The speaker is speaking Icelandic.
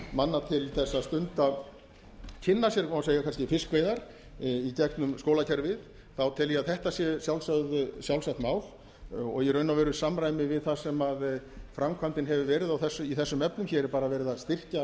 manna til þess að stunda eða kynna sér má kannski segja fiskveiðar í gegnum skólakerfið þá tel ég að þetta sé sjálfsagt mál og í raun og veru í samræmi við það sem framkvæmdin hefur verið í þessum efnum hér er bara verið að